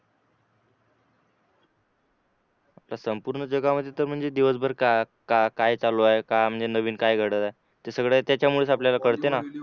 तर संपूर्ण जगामध्ये सर म्हणजे दिवसभर काय काय चालू आहे काय म्हणजे नवीन काय घडतं ते सगळं त्याच्यामुळेच आपलं कळतं ना